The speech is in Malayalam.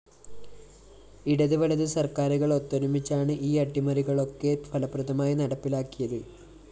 ഇടതു വലതു സര്‍ക്കാരുകള്‍ ഒത്തൊരുമിച്ചാണ്‌ ഈ അട്ടിമറികളൊക്കെ ഫലപ്രദമായി നടപ്പിലാക്കിയത്‌